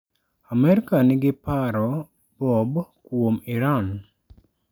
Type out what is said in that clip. Amerka nigi paro Bob kuom Iran?